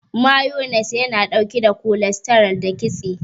Mayones yana ɗauke da kolestaral da kitse.